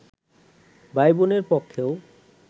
ভাইবোনের পক্ষেও